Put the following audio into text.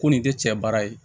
Ko nin tɛ cɛ baara ye